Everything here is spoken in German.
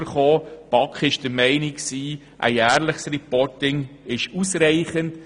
Die BaK ist der Meinung, ein jährliches «Reporting» sei ausreichend.